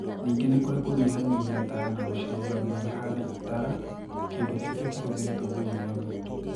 Ningĩ nĩ kũrĩ 'kũnyihanyihia taya na gũcirũgamia ihaane itara (kĩndũ kĩrĩa kĩhũthĩrĩtwo mũno nĩ athuri).